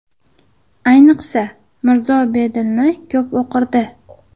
Ayniqsa, Mirzo Bedilni ko‘p o‘qirdi.